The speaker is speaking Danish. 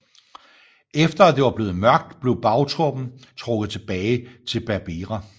Efter at det var blevet mørkt blev bagtroppen trukket tilbage til Berbera